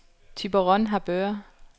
Thyborøn-Harboøre